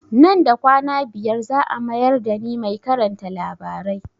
Nan da kwana biyar za a mayar da ni mai karanta labarai